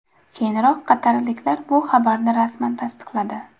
Keyinroq qatarliklar bu xabarni rasman tasdiqladi.